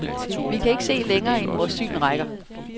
Vi kan ikke se længere, end vores syn rækker.